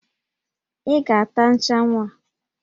Ị ga-ata nchanwụ a!